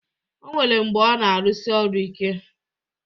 O nwere mgbe ọ na-arụsi ọrụ ike